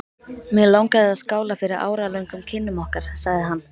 Mig langar að skála fyrir áralöngum kynnum okkar sagði hann.